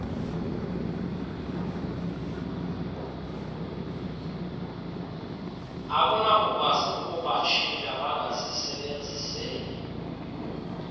akunakukwazi ukubatshintsha bangazisebenzeli